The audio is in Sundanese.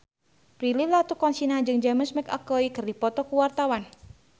Prilly Latuconsina jeung James McAvoy keur dipoto ku wartawan